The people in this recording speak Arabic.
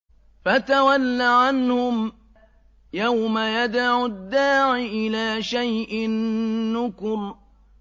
فَتَوَلَّ عَنْهُمْ ۘ يَوْمَ يَدْعُ الدَّاعِ إِلَىٰ شَيْءٍ نُّكُرٍ